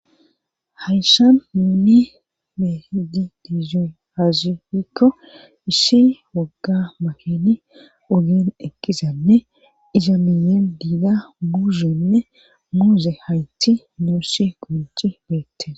Hayshan nuuni be'ishe dizoy aazee giiko ishi wogga maheni udin egizanne izamiye diga muhenne muuze hayti nuushi konci beete.